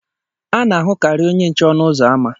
A na-ahụkarị onye nche ọnụ ụzọ ámá.